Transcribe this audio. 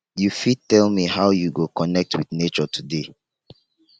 you fit tell me how you go connect with nature today